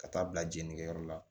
Ka taa bila jeninikɛyɔrɔ la